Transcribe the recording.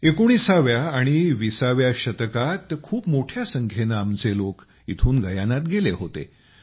१९ आणि २० व्या शतकात खूप मोठ्या संख्येनं आमचे लोक इथनं गयानात गेले होते